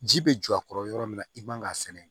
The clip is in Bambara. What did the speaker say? Ji bɛ jɔ a kɔrɔ yɔrɔ min na i man ka sɛnɛ